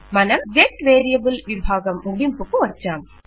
మనం get variable విభాగం ముగింపుకు వచ్చాం